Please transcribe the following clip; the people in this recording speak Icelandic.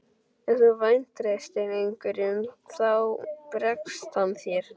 Ef þú vantreystir einhverjum þá bregst hann þér.